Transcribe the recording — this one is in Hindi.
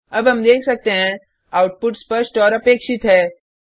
अब हम देख सकते हैं आउटपुट स्पष्ट और अपेक्षित है